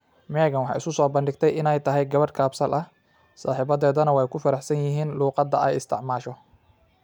Megan waxay isu soo bandhigtay inay tahay gabadh kaabsal ah, saaxiibadeedna way ku faraxsan yihiin luqadda ay isticmaasho.